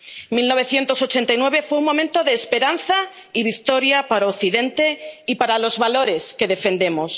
1989 fue un momento de esperanza y victoria para Occidente y para los valores que defendemos.